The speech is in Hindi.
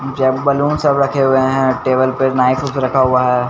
जबबलून सब रखे हुए हैं टेबल पर नाइफ फ्स रखा हुआ है।